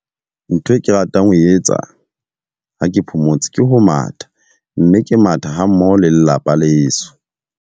Ntho e ke ratang ho etsa ha ke phomotse, ke ho matha. Mme ke matha ha mmoho le lelapa leso.